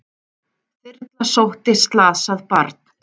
Þyrla sótti slasað barn